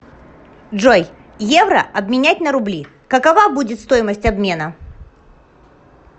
джой евро обменять на рубли какова будет стоимость обмена